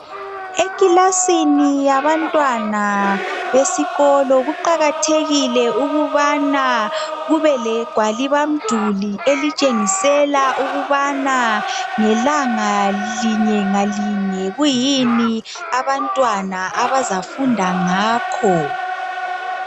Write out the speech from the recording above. Eclassini yabantwana besikolo kuqakathekile ukubana kubele gwalisa mduli elitshengisela ukubana ngelanga linye ngalinye kuyini abantwana abazafunda ngakho